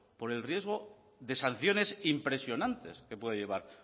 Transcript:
por el riesgo de sanciones impresionantes que puede llevar